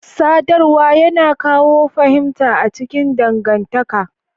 Sadarwa yana kawo fahimta a cikin dangantaka.